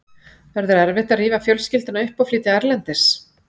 Verður erfitt að rífa fjölskylduna upp og flytja erlendis?